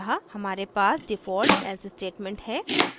अंततः हमारे पास default else statement है